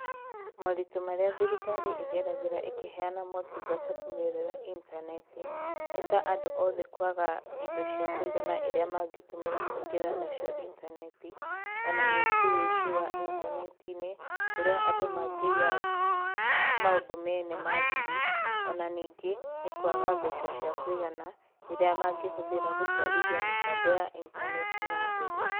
Moritῦ marῖa thirikari ῖgeragῖra ῖkῖheana motungata kῦgerera intaneti, nῖ ta andῦ othe kwaga indo cia kuigana iria mangῖtῦmῖra kῦingῖra nacio intaneti, ona ningῖ ῦici wa intaneti-inῖ kῦrῖa andῦ mangῖiya maῦndῦ mene ma thiri, ona ningῖ nῖ kwaga mbeca cia kῦigana iria mangῖhῦthira gῦtwarithia mῖtambo ya intaneti na mbere.